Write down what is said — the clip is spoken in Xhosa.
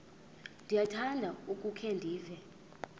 ndiyakuthanda ukukhe ndive